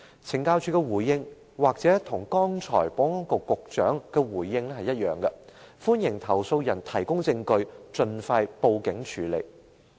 懲教署的回應也許與保安局局長剛才的回應相同，就是歡迎投訴人提供證據，盡快報警處理。